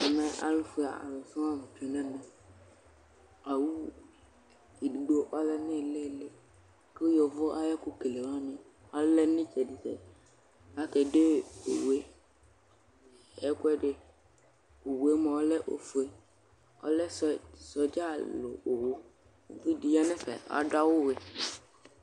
ɛmɛ alofue alo sɔŋ la tsue n'ɛmɛ owu edigbo ɔlɛ no ilili ko yovo ay'ɛko kele wani alɛ no itsɛdi tsɛdi ko ake de owue ɛkoɛdi owue moa ɔlɛ ofue ɔlɛ sodza alo owu uvidi ya n'ɛfɛ ado awu wɛ